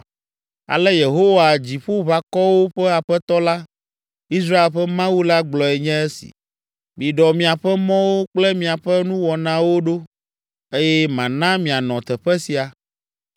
Ale Yehowa Dziƒoʋakɔwo ƒe Aƒetɔ la, Israel ƒe Mawu la gblɔe nye esi: Miɖɔ miaƒe mɔwo kple miaƒe nuwɔnawo ɖo eye mana mianɔ teƒe sia.